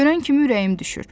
Görən kimi ürəyim düşür.